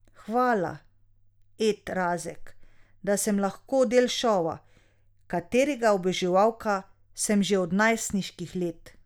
Hvala, Ed Razek, da sem lahko del šova, katerega oboževalka sem že od najstniških let.